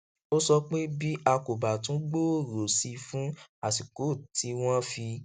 ó sọ pé bí a kò bá tún gbòòrò sí i fún àsìkò tí wọn fi